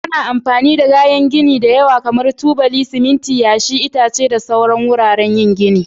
Ana amfani da kayan gini da yawa kamar tubali, siminti, yashi, itace da dai sauransu wurin yin gini.